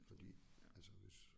Fordi altså hvis